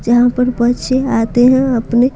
जहां पर बच्चे आते हैं अपने--